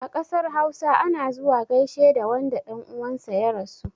A ƙasar hausa, ana zuwa gaishe da wanda ɗan uwan sa ya rasu.